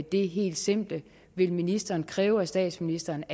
det helt simple vil ministeren kræve af statsministeren